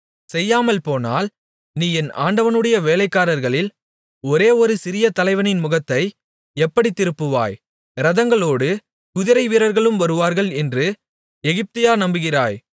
செய்யாமல்போனால் நீ என் ஆண்டவனுடைய வேலைக்காரர்களில் ஒரே ஒரு சிறிய தலைவனின் முகத்தை எப்படித் திருப்புவாய் இரதங்களோடு குதிரைவீரர்களும் வருவார்கள் என்று எகிப்தையா நம்புகிறாய்